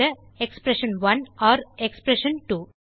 expression one || எக்ஸ்பிரஷன்2